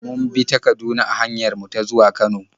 Mun bi ta Kaduna a hanyar mu ta zuwa Kano.